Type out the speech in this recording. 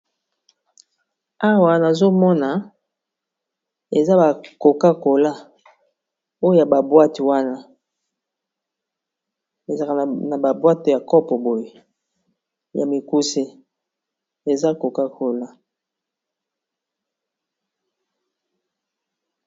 awa nazomona eza ba coca-cola na kati ya ba boite ya mikuse.